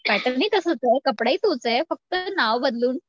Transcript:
pattern ही तसंच कपडा ही तोच आहे फक्त नाव बदलून